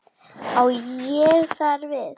Á ég þar við